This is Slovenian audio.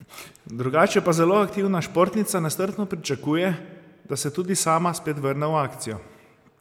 Drugače pa zelo aktivna športnica nestrpno pričakuje, da se tudi sama spet vrne v akcijo.